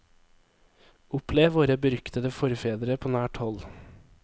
Opplev våre beryktede forfedre på nært hold.